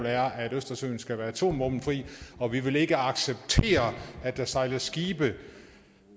er at østersøen skal være atomvåbenfri og vi vil ikke acceptere at der sejler skibe